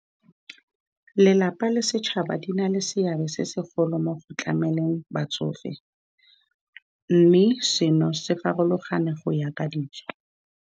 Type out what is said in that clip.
Lelapa le setšhaba di na le seabe se segolo mo go tlameleng batsofe, mme seno se farologane go ya ka dijo.